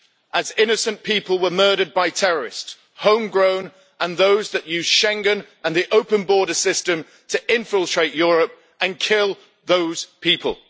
as innocent people were murdered by terrorists both home grown and those that used Schengen and the open border system to infiltrate Europe and kill those people.